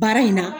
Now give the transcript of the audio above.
Baara in na